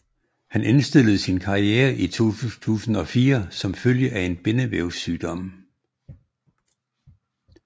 Han indstillede sin karriere i 2004 som følge af en bindevævssygdom